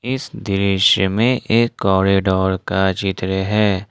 इस दृश्य में एक कॉरिडोर का चित्र है।